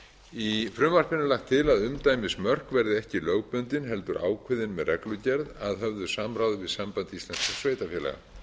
í frumvarpinu er lagt til að umdæmismörk verði ekki lögbundin heldur ákveðin með reglugerð að höfðu samráði við samband íslenskra sveitarfélaga